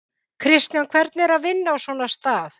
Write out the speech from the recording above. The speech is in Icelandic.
Kristján: Hvernig er að vinna á svona stað?